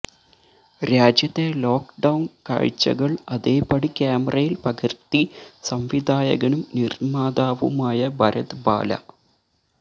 രാജ്യത്തെ ലോക്ഡൌണ് കാഴ്ച്ചകള് അതേപടി ക്യാമറയില് പകര്ത്തി സംവിധായകനും നിര്മ്മാതാവുമായ ഭരത് ബാല